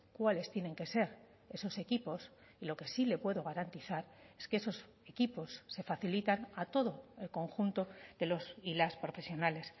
cuáles tienen que ser esos equipos y lo que sí le puedo garantizar es que esos equipos se facilitan a todo el conjunto de los y las profesionales